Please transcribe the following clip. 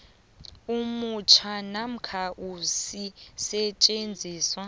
omutjha namkha isisetjenziswa